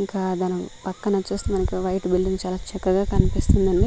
ఇంకా దాని పక్కనొచ్చేసి మనకు వైట్ బిల్డింగ్ చాలా చక్కగా కనిపిస్తుందండి.